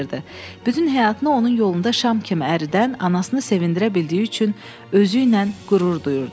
Bütün həyatını onun yolunda şam kimi əridən anasını sevindirə bildiyi üçün özüylə qürur duyurdu.